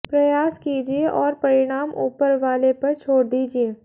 प्रयास कीजिये और परिणाम ऊपर वाले पर छोड़ दीजिये